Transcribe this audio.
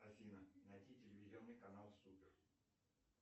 афина найди телевизионный канал супер